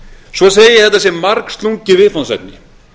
svo segi ég að þetta sé margslungið viðfangsefni